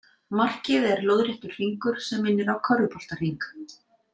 Markið er lóðréttur hringur sem minnir á körfuboltahring.